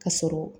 Ka sɔrɔ